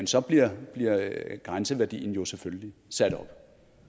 så bliver grænseværdien jo selvfølgelig sat op